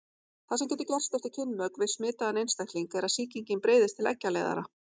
Það sem getur gerst eftir kynmök við smitaðan einstakling er að sýkingin breiðist til eggjaleiðara.